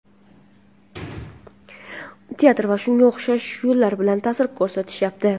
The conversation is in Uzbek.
teatr va shunga o‘xshash yo‘llar bilan ta’sir ko‘rsatishyapti.